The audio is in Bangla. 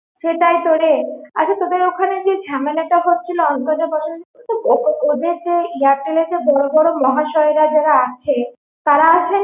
সেটাই তো রে আচ্ছা তোদের ওখানে যে ঝামেলাটা হচ্ছিলো অন্তর্জাল বসা নিয়ে ওদের যে Airtel এ বড়ো বড়ো মহাশয়রা আছে তারা আছে?